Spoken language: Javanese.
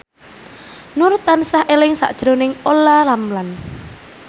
Nur tansah eling sakjroning Olla Ramlan